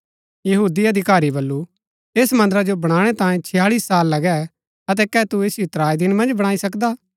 यहूदी अधिकारी बल्लू ऐस मन्दरा जो बणाणै तांयें छताळी साल लगै अतै कै तू ऐसिओ त्राई दिन मन्ज बणाई सकदा